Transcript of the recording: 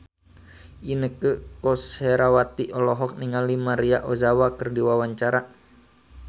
Inneke Koesherawati olohok ningali Maria Ozawa keur diwawancara